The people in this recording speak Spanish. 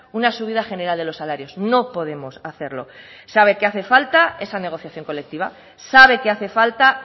una subida general de los salarios no podemos hacerlo sabe que hace falta esa negociación colectiva sabe que hace falta